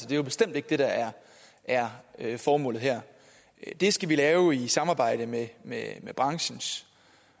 det er jo bestemt ikke det der er er formålet her det skal vi lave i samarbejde med med branchens